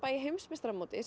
í heimsmeistaramótinu